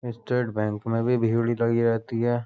State bank में भी भीड़ लगी रहती है।